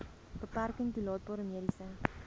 beperking toelaatbare mediese